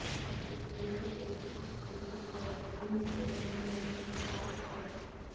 అప్పుడు ప్లేట్లు ఎరుపు ఉడికిస్తారు బీన్స్ వేయడానికి మరియు పట్టిక అది సర్వ్